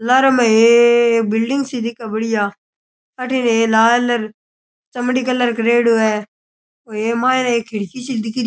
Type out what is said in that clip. लारेे में हे बिल्डिंग सी दिखे बड़िया अठीने ये लाल अर चमड़ी कलर करेड़ो है और ए माइने एक खिड़की सी दिख री।